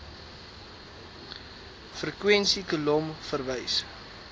frekwensie kolom verwys